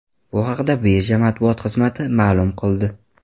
Bu haqda birja matbuot xizmati ma’lum qildi .